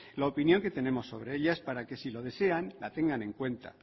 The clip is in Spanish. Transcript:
la opinión que tenemos sobre ellas para que si lo desean la tengan en cuenta